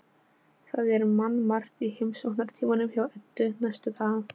Það er mannmargt í heimsóknartímanum hjá Eddu næstu daga.